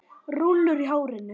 Rúllur í hárinu.